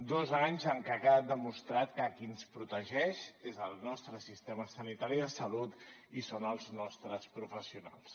dos anys en què ha quedat demostrat que qui ens protegeix és el nostre sistema sanitari de salut i són els nostres professionals